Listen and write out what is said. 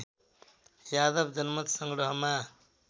Yadav जनमतसँग्रहमा